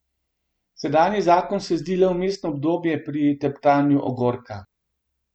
Sedanji zakon se zdi le vmesno obdobje pri teptanju ogorka.